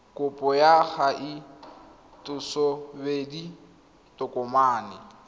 kopo ya kgatisosebedi ya tokomane